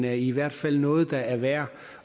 er i hvert fald noget der er værd